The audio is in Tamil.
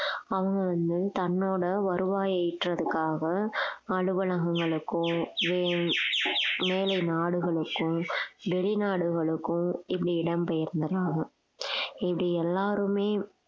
அவங்க வந்து தன்னோட வருவாயை ஈற்றதுக்காக அலுவலகங்களுக்கோ மே~மேலை நாடுகளுக்கோ வெளிநாடுகளுக்கும் இப்படி இடம்பெயர்ந்தறாங்க இப்படி எல்லாருமே